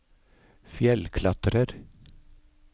fjellklatrer